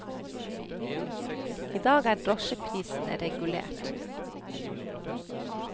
I dag er drosjeprisene regulert.